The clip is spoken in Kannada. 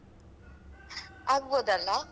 ಆಗ್ಬಹುದಲ್ಲ.